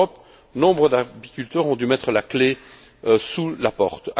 En Europe, nombre d'apiculteurs ont dû mettre la clé sous la porte.